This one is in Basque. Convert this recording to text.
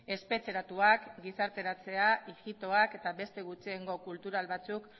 espetxeratuak gizarteratzea ijitoak eta beste gutxiengo kultural batzuk